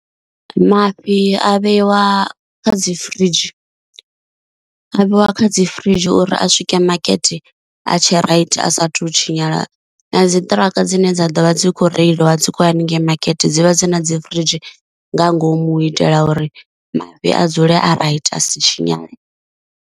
Mafhi a vheiwa kha dzi firidzhi a vheiwa kha dzi firidzhi uri a swike makete a tshe raithi a sathu tshinyala, na dzi ṱiraka dzine dza ḓo vha dzi kho reiliwa dzi kho haningei makete dzivha dzi na dzi firidzhi nga ngomu u itela uri mafhi a dzule a raithi a si tshinyale.